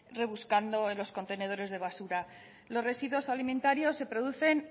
rebuscando en los contenedores de basura los residuos alimentarios se producen